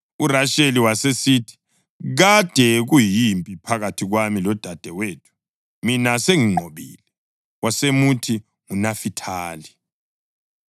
URasheli wasesithi, “Kade kuyimpi phakathi kwami lodadewethu, mina senginqobile.” Wasemuthi nguNafithali.